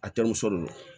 A terimuso de don